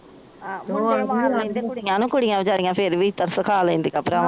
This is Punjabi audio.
ਕੁੜੀਆਂ ਵਚਾਰੀਆਂ ਫੇਰ ਵੀ ਤਰਸ ਖਾ ਲੈਂਦੀਆਂ ਭਰਾ